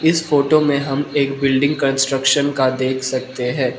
इस फोटो में हम एक बिल्डिंग कंस्ट्रक्शन का देख सकते हैं।